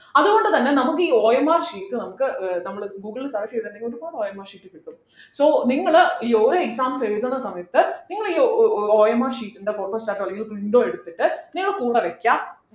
അതുകൊണ്ടുതന്നെ നമുക്ക് ഈ OMR sheet നമുക്ക് ആഹ് നമ്മള് google ൽ search ചെയ്തിണ്ടെങ്കി ഒരുപാട് OMR sheet കിട്ടും so നിങ്ങൾ ഈ ഓരോ exam എഴുതുന്ന സമയത്ത് നിങ്ങൾ ഈ ഓ ഓ ഓ OMR sheet ൻ്റെ photostat ഓ അല്ലെങ്കിൽ print ഓ എടുത്തിട്ട് നിങ്ങൾ കൂടെ വെക്കാ.